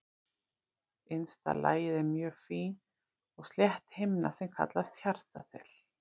Innsta lagið er mjög fín og slétt himna sem kallast hjartaþel.